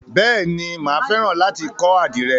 Bèéni, máa fẹ́ràn láti kọ́ àdìrẹ.